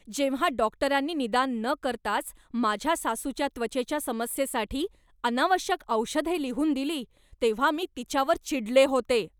जेव्हा डॉक्टरांनी निदान न करताच माझ्या सासूच्या त्वचेच्या समस्येसाठी अनावश्यक औषधे लिहून दिली तेव्हा मी तिच्यावर चिडले होते.